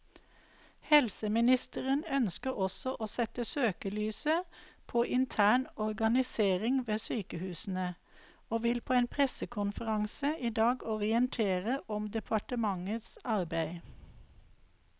Helseministeren ønsker også å sette søkelyset på intern organisering ved sykehusene, og vil på en pressekonferanse i dag orientere om departementets arbeid.